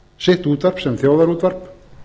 sitt útvarp sem þjóðarútvarp